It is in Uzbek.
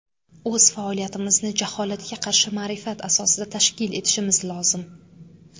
O‘z faoliyatimizni jaholatga qarshi ma’rifat asosida tashkil etishimiz lozim.